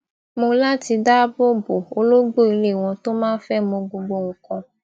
mó lati dáàbò bo ológbò ilé wọn tó máa ń fé mọ gbogbo nnkan